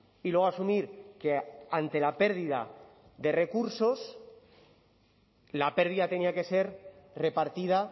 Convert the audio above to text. y luego asumir que ante la pérdida de recursos la pérdida tenía que ser repartida